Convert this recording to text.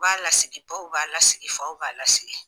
U b'a lasigi baw b'a lasigi faw b'a lasigi